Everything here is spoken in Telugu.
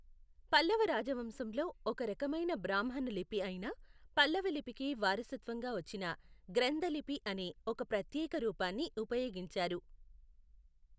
పల్లవ రాజవంశంలో, ఒక రకమైన బ్రాహ్మణ లిపి అయిన పల్లవ లిపికి వారసత్వంగా వచ్చిన గ్రంథ లిపి అనే, ఒక ప్రత్యేక రూపాన్ని ఉపయోగించారు.